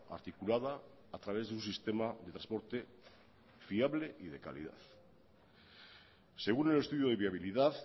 articulada a través de un sistema de transporte fiable y de calidad según el estudio de viabilidad